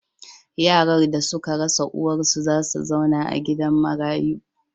Yaran da suka rasa uwarsu za su zauna a gidan marayu.